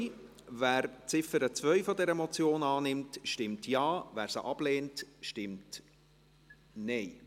Wer die Ziffer 2 dieser Motion annimmt, stimmt Ja, wer diese ablehnt, stimmt Nein.